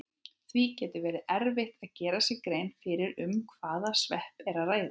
Því getur verið erfitt að gera sér grein fyrir um hvaða svepp er að ræða.